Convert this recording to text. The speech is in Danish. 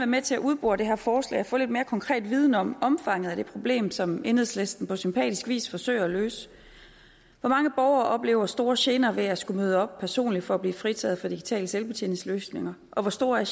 med til at udbore det her forslag og få lidt mere konkret viden om omfanget af det problem som enhedslisten på sympatisk vis forsøger at løse hvor mange borgere oplever store gener ved at skulle møde op personligt for at blive fritaget for digitale selvbetjeningsløsninger og hvor store er